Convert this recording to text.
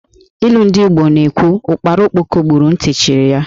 Ilu ndị Igbo na-ekwu, Ụ́kpárá Ókpókò gburu, ntị chiri ya